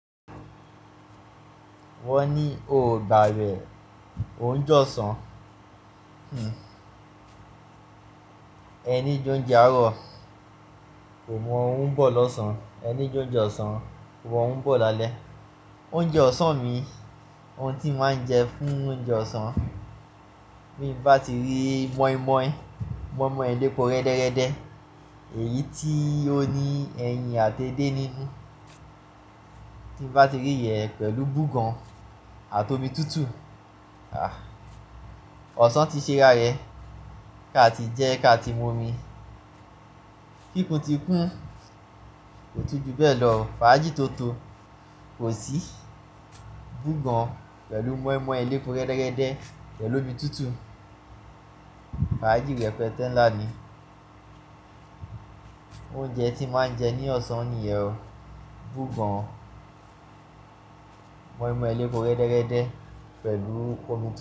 Wọ́n ní o ò gbà'wẹ, òún jọ ṣán, ẹ ní jẹ oúnjẹ àárọ̀, kò mọ òun bó lọ̀sán, ẹ ní jẹ oúnjẹ ọ̀sán, kò mọ òun bó lálẹ́. Oúnjẹ ọ̀sán mi, oun tí mo máa ń jẹ fún oúnjẹ ọ̀sán, bí mo bá ti rí mọ́ímọ́í, mọ́ímọ́í elépo rẹ́dẹ́rẹ́dẹ́, èyí tí ó ní ẹyin àti edé nínú, tí mo bá ti rí ẹ̀ pẹ̀lú búgàn àti omi tútù, àh! Ọ̀sán ti ṣe rárẹ, ká ti jẹ́ ká ti mu omi. Kíkún ti kún, kò tú ju bẹ́ẹ̀ lọ, fàájì tó totó, kò sí búgàn pẹ̀lú mọ́ímọ́í elépo rẹ́dẹ́rẹ́dẹ́ pẹ̀lú omi tútù. Fàájì rẹ́pẹ́tẹ̀ ńlá ni. Oúnjẹ tí mo máa ń jẹ ní ọ̀sán nìyẹn o. Búgàn, mọ́ímọ́í elépo rẹ́dẹ́rẹ́dẹ́ pẹ̀lú ko.